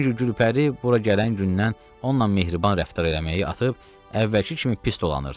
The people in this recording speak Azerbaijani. Çünki Gülpəri bura gələn gündən onunla mehriban rəftar eləməyi atıb əvvəlki kimi pis dolanırdı.